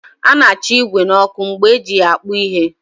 A na-acha igwè n'ọkụ mgbe eji ya akpụ ihe